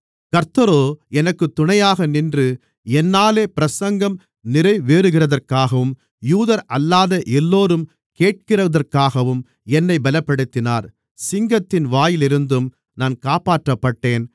கர்த்தரோ எனக்குத் துணையாக நின்று என்னாலே பிரசங்கம் நிறைவேறுகிறதற்காகவும் யூதரல்லாத எல்லோரும் கேட்கிறதற்காகவும் என்னைப் பலப்படுத்தினார் சிங்கத்தின் வாயிலிருந்தும் நான் காப்பாற்றப்பட்டேன்